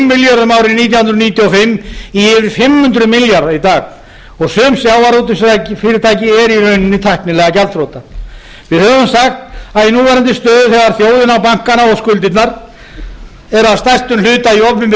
hundruð níutíu og fimm í yfir fimm hundruð milljarða í dag og sum sjávarútvegsfyrirtæki eru í rauninni tæknilega gjaldþrota við höfum sagt að í núverandi stöðu þegar þjóðin á bankana og skuldirnar eru að stærstum hluta í opinberri eign